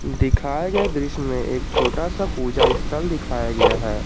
दिखाए गए दृश्य में एक छोटा सा पूजा स्थल दिखाया गया है।